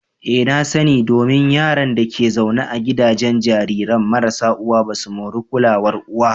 Ee na sa ni, Domin Yaran da ke zaune a gidajen jarirai marasa uwa basu moran kulawar uwa.